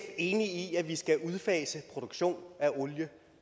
enig i at vi skal udfase produktion af olie